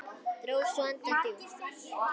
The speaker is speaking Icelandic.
Dró svo andann djúpt.